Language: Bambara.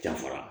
Dafara